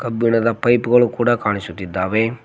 ಕಬ್ಬಿಣದ ಪೈಪ್ ಗಳು ಕಾಣಿಸುತ್ತಾ ಇದ್ದಾವೆ.